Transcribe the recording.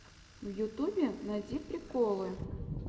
в ютубе найди приколы